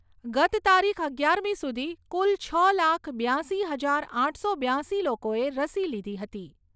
ગત તારીખ અગિયારમી સુધી કુલ છ લાખ બ્યાશી હજાર આઠસો બ્યાશી લોકોએ રસી લીધી હતી.